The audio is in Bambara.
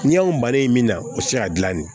Ni y'anw bannen min na o ti se ka gilan de